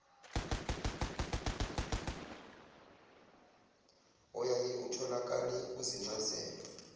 oyaye utholakale kuzincazelo